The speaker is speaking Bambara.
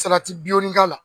k'a la.